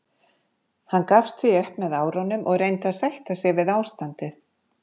Hann gafst því upp með árunum og reyndi að sætta sig við ástandið.